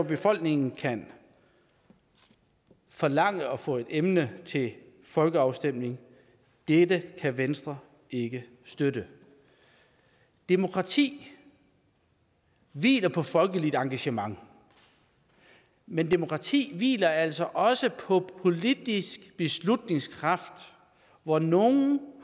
befolkningen kan forlange at få et emne til folkeafstemning dette kan venstre ikke støtte demokrati hviler på folkeligt engagement men demokrati hviler altså også på politisk beslutningskraft hvor nogle